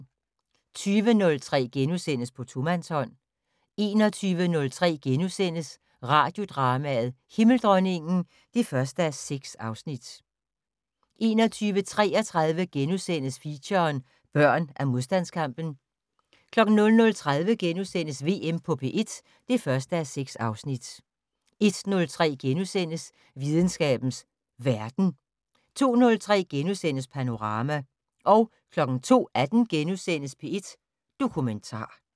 20:03: På tomandshånd * 21:03: Radiodrama: Himmeldronningen (1:6)* 21:33: Feature: Børn af modstandskampen * 00:30: VM på P1 (1:6)* 01:03: Videnskabens Verden * 02:03: Panorama * 02:18: P1 Dokumentar *